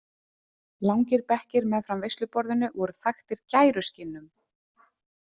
Langir bekkir meðfram veisluborðinu voru þaktir gæruskinnum.